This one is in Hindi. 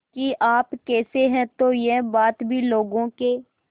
कि आप कैसे हैं तो यह बात भी लोगों के